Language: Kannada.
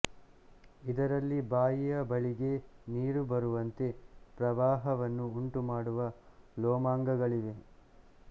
ಇದರಲ್ಲಿ ಬಾಯಿಯ ಬಳಿಗೆ ನೀರು ಬರುವಂತೆ ಪ್ರವಾಹವನ್ನು ಉಂಟುಮಾಡುವ ಲೋಮಾಂಗಗಳಿವೆ